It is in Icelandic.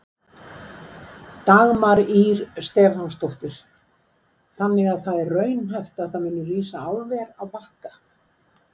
Dagmar Ýr Stefánsdóttir: Þannig að það er raunhæft að það muni rísa álver á Bakka?